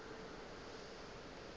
ga se ka ka ka